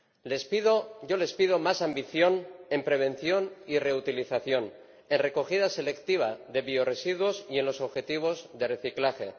Les pido más ambición en prevención y reutilización, en recogida selectiva de biorresiduos y en los objetivos de reciclaje.